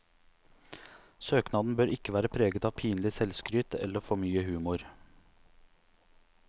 Søknaden bør ikke være preget av pinlig selvskryt eller for mye humor.